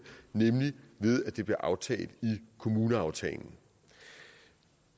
nemlig ved at det bliver aftalt i kommuneaftalen